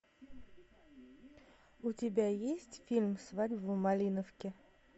у тебя есть фильм свадьба в малиновке